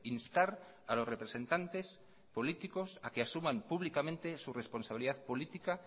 instar a los representantes políticos a que asuman públicamente su responsabilidad política